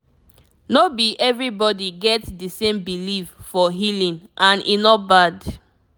no be everybody get the same belief for healing and e no bad